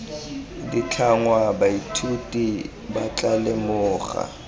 ditlhangwa baithuti ba tla lemoga